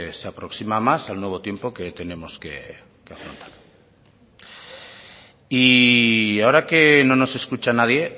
se aproxima más al nuevo tiempo que tenemos que afrontar y ahora que no nos escucha nadie